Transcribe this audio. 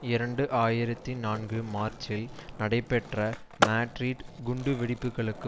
இரண்டு ஆயிரத்தி நான்கு மார்ச்சில் நடைபெற்ற மாட்ரிட் குண்டுவெடிப்புகளுக்கு